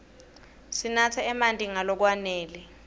sinatse marti nga lokwanele